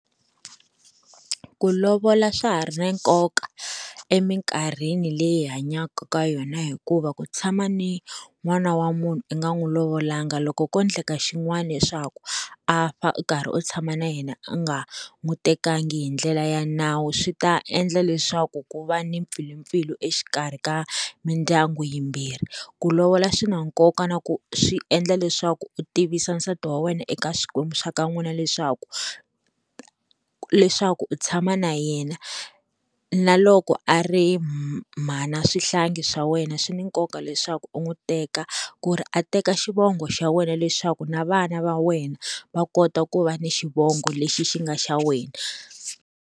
Ku lovola swa ha ri na nkoka eminkarhini leyi hi hanyaka ka yona hikuva ku tshama ni n'wana wa munhu i nga n'wi lovolanga loko ko endleka xin'wana leswaku a fa u karhi u tshama na yena u nga n'wi tekanga hi ndlela ya nawu swi ta endla leswaku ku va ni mpfilimpfilu exikarhi ka mindyangu yimbirhi, ku lovola swi na nkoka na ku swi endla leswaku u tivisa nsati wa wena eka swikwembu swa ka n'wina leswaku leswaku u tshama na yena na loko a ri mhana swihlangi swa wena swi ni nkoka leswaku u n'wi teka ku ri a teka xivongo xa wena leswaku na vana va wena va kota ku va ni xivongo lexi xi nga xa wena.